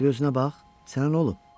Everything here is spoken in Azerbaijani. Bir özünə bax, sənə nə olub?